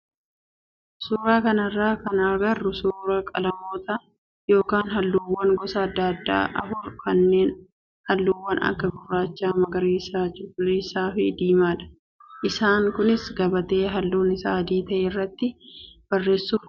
Suuraa kanarraa kan agarru suuraa qalamoota yookaan halluuwwan gosa adda addaa afur kanneen halluuwwan akka gurraachaa, magariisa, cuquliisaa fi diimaadha. Isaan kunis gabatee halluun isaa adii ta'e irratti barreesuuf oolu.